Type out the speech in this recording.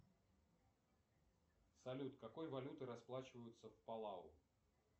салют какой валютой расплачиваются в палау